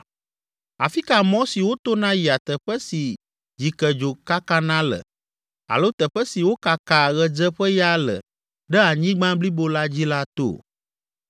Afi ka mɔ si wotona yia teƒe si dzikedzo kakana le alo teƒe si wokakaa ɣedzeƒeya le ɖe anyigba blibo la dzi la to?